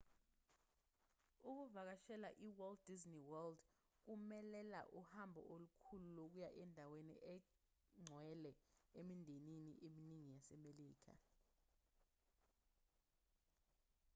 ukuvakashela e-walt disney world kumelela uhambo olukhulu lokuya endaweni engcwele emindenini eminingi yasemelika